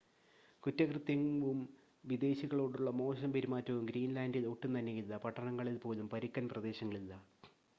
"കുറ്റകൃത്യവും വിദേശികളോടുള്ള മോശം പെരുമാറ്റവും ഗ്രീൻ‌ലാൻഡിൽ ഒട്ടും തന്നെയില്ല. പട്ടണങ്ങളിൽ പോലും "പരുക്കൻ പ്രദേശങ്ങൾ" ഇല്ല.